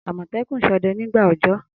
Amotekun sode nigba ọjọ.